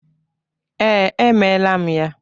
Ee, emela m ya.